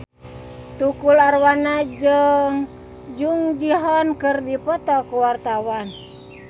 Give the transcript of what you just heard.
Tukul Arwana jeung Jung Ji Hoon keur dipoto ku wartawan